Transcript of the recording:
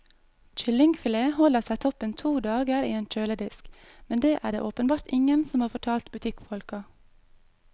Kyllingfilet holder seg toppen to dager i en kjøledisk, men det er det åpenbart ingen som har fortalt butikkfolka.